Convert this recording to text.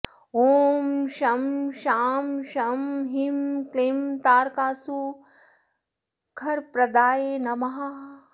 ॐ शं शां षं ह्रीं क्लीं तारकासुरवरप्रदाय नमः